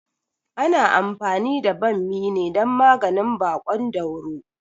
Ana anfani da ɓammi ne dan maganin baƙon dauro